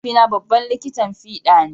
Mahaifina babban likitan fida ne.